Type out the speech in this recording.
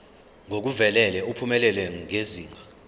ngokuvelele uphumelele ngezinga